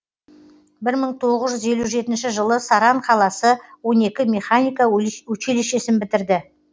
бір мың тоғыз жүз елу жетінші жылы саран қаласы он екі механика училищесін бітірді